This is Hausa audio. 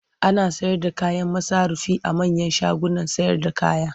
Ana sayarda kayan masarufi a manyan shagunan sayarda kaya.